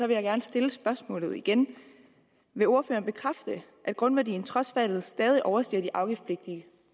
jeg gerne stille spørgsmålet igen vil ordføreren bekræfte at grundværdien trods faldet stadig overstiger de afgiftspligtige